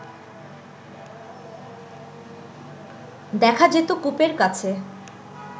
দেখা যেত কূপের কাছে